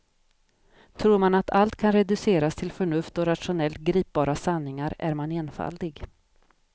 Tror man att allt kan reduceras till förnuft och rationellt gripbara sanningar är man enfaldig.